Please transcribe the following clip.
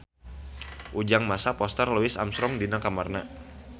Ujang masang poster Louis Armstrong di kamarna